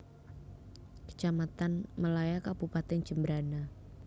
Kecamatan Melaya Kabupatèn Jembrana